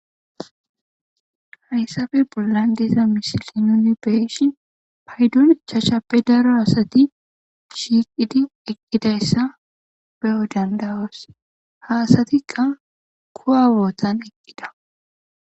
Haysappe bolla diza misiliya nuni beyishin 5ppe dariza asati shiqidi eqidaysa beyo danda'os. Ha asatika kuwa bottan ichida.